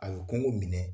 A bɛ kɔngo minɛ